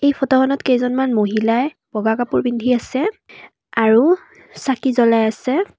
Photo খনত কেইজনমান মহিলাই বগা কাপোৰ পিন্ধি আছে আৰু চাকি জ্বলাই আছে।